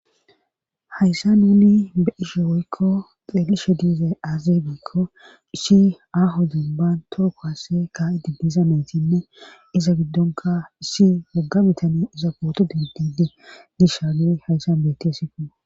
hayssan wuli be ishe woykko xeelishe diizay aazibekko isshi aho denban tookoasse ka7i dibbiza maytinne iza giddonka issi wogga bitani iza booto dibdidi dishagui hayssan bettesiko